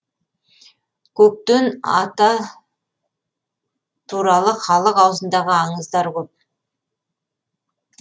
көктен ата туралы халық аузындағы аңыздар көп